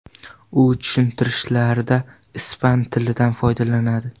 U tushuntirishlarda ispan tilidan foydalanadi.